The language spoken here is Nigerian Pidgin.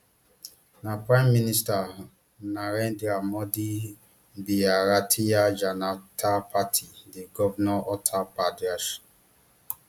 na prime minister narendra modi bharatiya janata party dey govern uttar pradesh